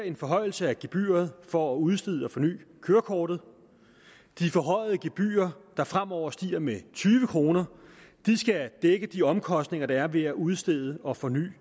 en forhøjelse af gebyret for at udstede og forny kørekortet de forhøjede gebyrer der fremover stiger med tyve kr skal dække de omkostninger der er ved at udstede og forny